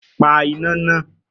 Pa iná nàá!